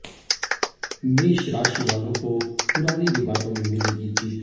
मेष राशि वालों को पुराने विवादों में मिलेगी जीत